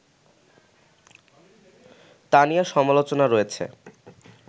তা নিয়ে সমালোচনা রয়েছে